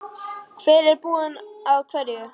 Hver er búinn að hverju?